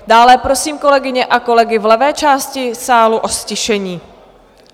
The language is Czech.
Dále prosím kolegyně a kolegy v levé části sálu o ztišení.